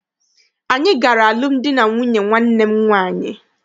Anyị gara alụmdi na nwunye nwanne m nwaanyị.